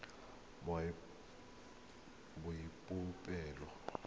boipobolo